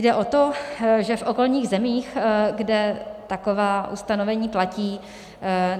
Jde o to, že v okolních zemích, kde taková ustanovení platí,